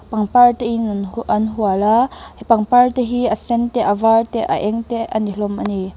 pangpar te in an hauh an hual a pangpar te hi a sen te a var te a eng te a ni hlawm ani.